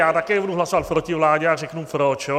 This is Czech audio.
Já také budu hlasovat proti vládě a řeknu proč.